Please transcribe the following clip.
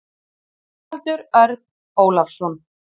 Haraldur Örn Ólafsson.